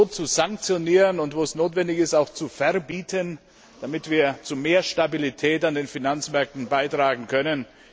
zu sanktionieren und, wo es notwendig ist, auch zu verbieten, damit wir zu mehr Stabilität an den Finanzmärkten beitragen können.